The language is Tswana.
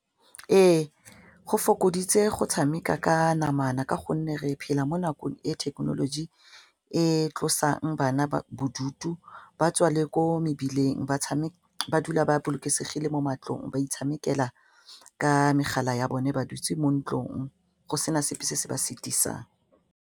Ee, go fokoditse go tshameka ka namana ka gonne re phela mo nakong e thekenoloji e tlosang bana bodutu ba tswa le ko mebileng ba dula ba bolokesegile mo matlong ba itshamekela ka megala ya bone ba dutse mo ntlong go sena sepe se se ba setisang.